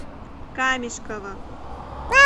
камешково